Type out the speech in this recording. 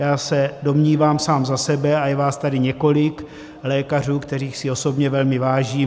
Já se domnívám sám za sebe, a je vás tady několik lékařů, kterých si osobně velmi vážím.